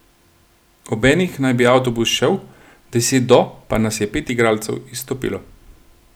Ob enih naj bi avtobus šel, deset do pa nas je pet igralcev izstopilo.